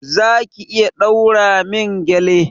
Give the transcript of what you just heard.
Za ki iya ɗaura min gƴale?